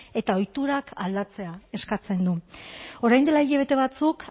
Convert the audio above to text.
eta ohiturak aldatzea eskatzen du orain dela hilabete batzuk